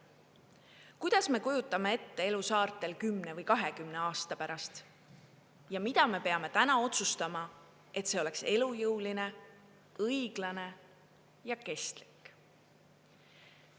Kuidas me kujutame ette elu saartel 10 või 20 aasta pärast ja mida me peame täna otsustama, et see oleks elujõuline, õiglane ja kestlik?